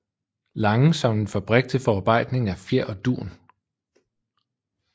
Lange som en fabrik til forarbejdning af fjer og dun